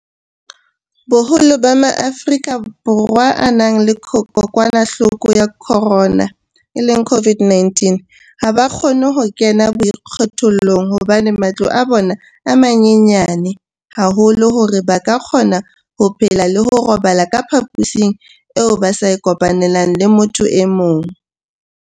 Boholo ba Maafrika Borwa a nang le kokwanahloko ya corona, COVID-19, ha ba kgone ho kena boikgethollong hobane matlo a bona a manyenyana haholo hore ba ka kgona ho phela le ho robala ka phaposing eo ba sa e kopanelang le motho e mong.